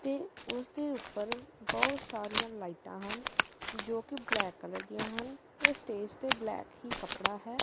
ਤੇ ਓਸਦੇ ਉਪਰ ਬੋਹੁਤ ਸਾਰੀਆਂ ਲਾਈਟਾਂ ਹਨ ਜੋ ਕੀ ਬਲੈਕ ਕਲਰ ਦਿਆਂ ਹਨ ਤੇ ਸਟੇਜ ਤੇ ਬਲੈਕ ਹੀ ਕਪੜਾ ਹੈ।